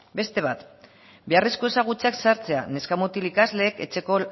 beste bat beharrezko ezagutzeak zehartzea neska mutil ikasleek etxeko